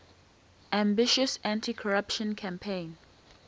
ambitious anticorruption campaign